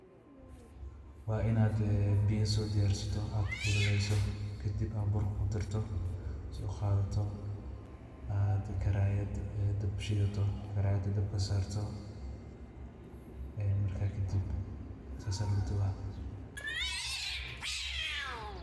Waa inaad biyo so diyarsato, aad kulalayso, kadib aad burka ku darto sooqadato aad karayad dab u shidato, karayada dabka sarto marka kadib sas aya laguduba.